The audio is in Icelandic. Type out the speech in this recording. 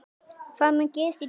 Hvað mun gerast í dag?